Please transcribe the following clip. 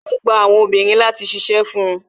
Yo gba àwọn obìnrin láti ṣíṣe fun